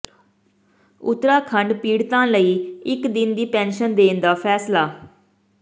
ਉੱਤਰਾਖੰਡ ਪੀੜਤਾਂ ਲਈ ਇਕ ਦਿਨ ਦੀ ਪੈਨਸ਼ਨ ਦੇਣ ਦਾ ਫੈਸਲਾ